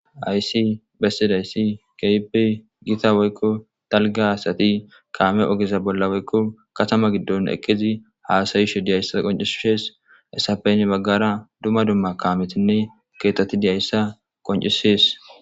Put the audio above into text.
Haysi bessidayssi kepe gita woykko talga haasati kaame ogeza bolla woykko katama giddon ekezi haasayisho diyayssa qoncisshes esafeyn baggara dumma dumma kaametinne keetoti diyayssa qoncisees